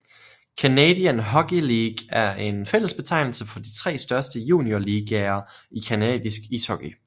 Canadian Hockey League er en fælles betegnelse for de tre største juniorligaer i canadisk ishockey